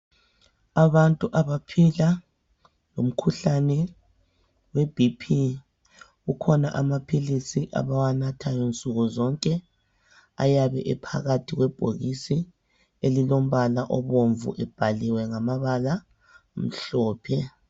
Abantu abaphila lomkhuhlane we BP kukhona amaphilisi abawanathayo nsukuzonke ayabe ephakathi kwebhokisi elilombala obomvu libhaliwe ngamabala amhlophe.